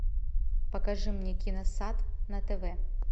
покажи мне киносад на тв